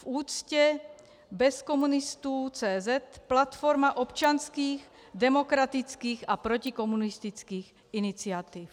V úctě bez komunistů.cz, platforma občanských, demokratických a protikomunistických iniciativ.